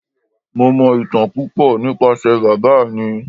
Mo mọ ìtàn púpò nípasẹ̀ bàbá mi.